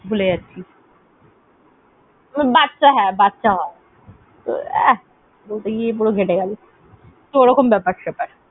Term টাই ভুলে যাচ্ছি। বাচ্চা মানুষ হয়। ওহ হ্যাঁ হ্যাঁ বাচ্চা হয় আহ বলতে গিয়ে পুরো ঘেঁটে গেলো সেরকম ব্যাপার সেপার।